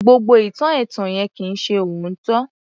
Gbogbo ìtàn ẹ̀tàn yẹn kì í ṣe òótọ́